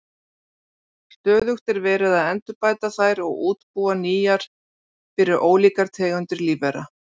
Stöðugt er verið að endurbæta þær og útbúa nýjar fyrir ólíkar tegundir lífvera.